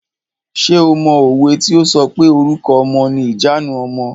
Ṣé o mọ òwe tí o sọ pé "Orúkọ ọmọ ni ìjanu ọmọ".